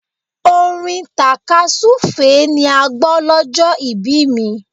Orin tàkasúfèé ni a gbọ́ lọ́jọ́ ìbí mi.